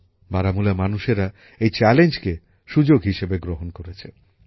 বারামুলার মানুষেরা এই চ্যালেঞ্জকে সুযোগ হিসেবে গ্রহণ করেছে